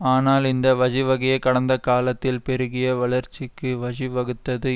ஆனால் இந்த வஜிவகையே கடந்த காலத்தில் பெருகிய வளர்ச்சிக்கு வஜிவகுத்தது